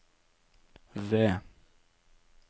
ved